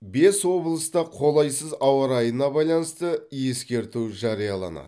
бес облыста қолайсыз ауа райына байланысты ескерту жарияланады